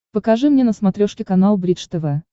покажи мне на смотрешке канал бридж тв